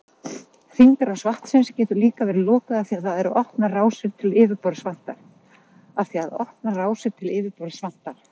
Hringrás vatnsins getur líka verið lokuð af því að opnar rásir til yfirborðs vantar.